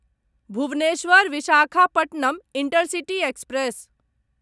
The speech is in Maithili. Bhubaneswar Visakhapatnam intercity express